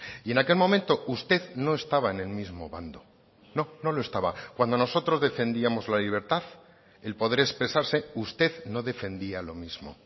y en aquel momento usted no estaba en el mismo bando no no lo estaba cuando nosotros defendíamos la libertad el poder expresarse usted no defendía lo mismo